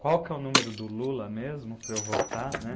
Qual que é o número do Lula mesmo para eu votar, né.